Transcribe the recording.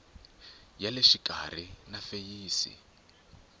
ya le xikarhi na feyisi